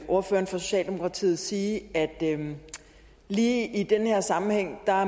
ordføreren for socialdemokratiet sige at lige i den her sammenhæng